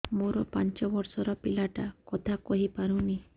ମୋର ପାଞ୍ଚ ଵର୍ଷ ର ପିଲା ଟା କଥା କହି ପାରୁନି